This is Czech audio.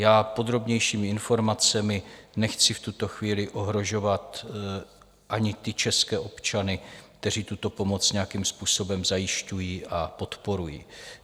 Já podrobnějšími informacemi nechci v tuto chvíli ohrožovat ani ty české občany, kteří tuto pomoc nějakým způsobem zajišťují a podporují.